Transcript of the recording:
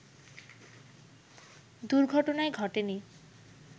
দুর্ঘটনাই ঘটে নি